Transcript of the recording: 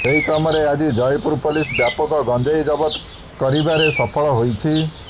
ସେହି କ୍ରମରେ ଆଜି ଜୟପୁର ପୋଲିସ ବ୍ୟାପକ ଗଞ୍ଜେଇ ଜବତ କରିବାରେ ସଫଳ ହୋଇଛି